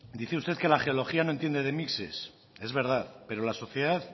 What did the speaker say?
dice usted que la geología no entiende de mixes es verdad pero la sociedad